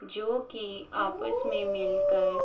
जो की आपस में मिलकर --